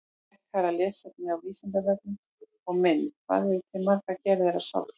Frekara lesefni á Vísindavefnum og mynd Hvað eru til margar gerðir af sálfræði?